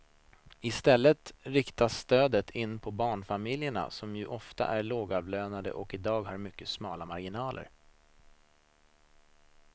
I stället riktas stödet in på barnfamiljerna som ju ofta är lågavlönade och i dag har mycket smala marginaler.